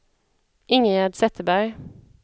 Ingegärd Zetterberg